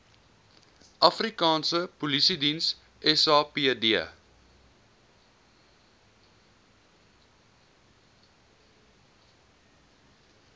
afrikaanse polisiediens sapd